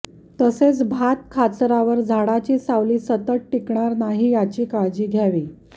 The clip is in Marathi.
तसेच भात खाचरावर झाडाची सावली सतत टिकणार नाही याची काळजी घ्यावी